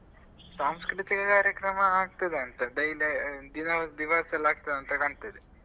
ಸಾಂಸ್ಕೃತಿಕ ಕಾರ್ಯಕ್ರಮ ಆಗ್ತದ ಅಂತ daily ದಿನ~ ದಿವಸಯೆಲ್ಲ ಆಗ್ತದಂತ ಕಾಣ್ತದೆ.